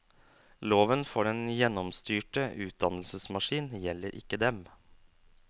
Loven for den gjennomstyrte utdannelsesmaskin gjelder ikke dem.